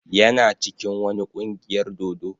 Yana cikin wani kungiyar dodo.